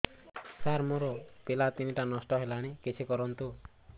ସାର ମୋର ପିଲା ତିନିଟା ନଷ୍ଟ ହେଲାଣି କିଛି କରନ୍ତୁ